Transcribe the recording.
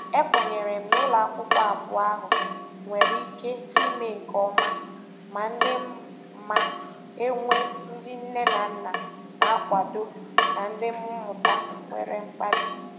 E kwenyere m na ụlọakwụkwọ abụọ ahụ nwere ike ime nke ọma ma ndị ma e nwee ndị nne na nna na-akwado na ndị mmụta nwere mkpali.